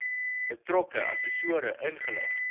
betrokke assessore ingelig